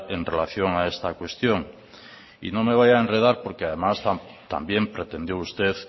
en relación a esta cuestión y no me voy a enredar porque además también pretendió usted